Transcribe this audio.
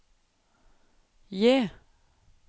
J